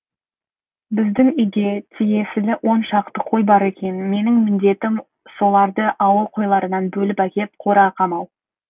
біздің үйге тиесілі он шақты қой бар екен менің міндетім соларды ауыл қойларынан бөліп әкеп қораға қамау